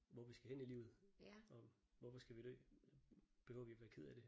Hvor vi skal hen i livet og hvorfor skal vi dø. Behøver vi være kede af det